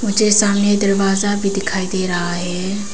मुझे सामने दरवाजा भी दिखाई दे रहा है।